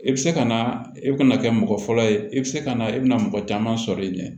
I bɛ se ka na i bɛna kɛ mɔgɔ fɔlɔ ye i bɛ se ka na i bɛna mɔgɔ caman sɔrɔ i ɲɛ